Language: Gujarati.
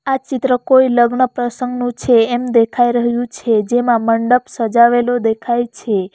આ ચિત્ર કોઈ લગ્ન પ્રસંગનું છે એમ દેખાઈ રહ્યું છે જેમાં મંડપ સજાવેલો દેખાય છે.